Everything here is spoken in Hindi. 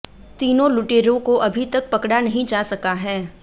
तीनों लुटेरों को अभी तक पकड़ा नहीं जा सका है